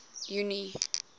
junie